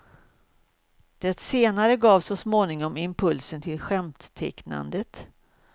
Det senare gav så småningom impulsen till skämttecknandet.